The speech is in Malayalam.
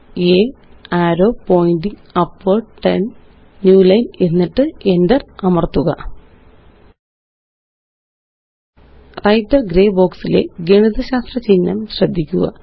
a arrow pointing upward 10 new line എന്നിട്ട്Enter അമര്ത്തുക വ്രൈട്ടർ ഗ്രേ ബോക്സ് ലെ ഗണിതശാസ്ത്ര ചിഹ്നം ശ്രദ്ധിക്കുക